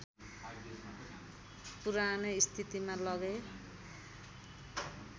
पुरानै स्थितिमा लगेँ